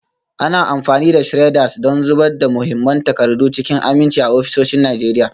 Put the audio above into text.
Ana amfani da shredders don zubar da muhimman takardu cikin aminci a ofisoshin Najeriya.